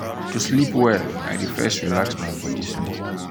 to sleep well i dey first relax my body small.